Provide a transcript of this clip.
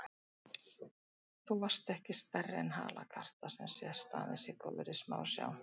Þú varst ekki stærri en halakarta, sem sést aðeins í góðri smásjá.